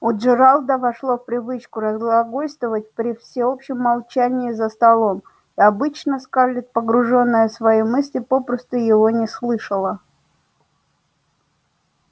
у джералда вошло в привычку разглагольствовать при всеобщем молчании за столом и обычно скарлетт погружённая в свои мысли попросту его не слышала